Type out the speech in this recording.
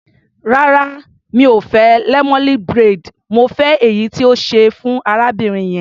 Rárá, mi ò fẹ́ lemonade braid, mo fẹ́ èyí tí o ṣe fún arábìnrin yẹn.